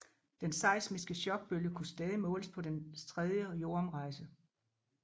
Den seismiske chokbølge kunne stadig måles på dens tredje jordomrejse